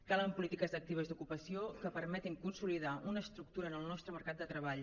calen polítiques actives d’ocupació que permetin consolidar una estructura en el nostre mercat de treball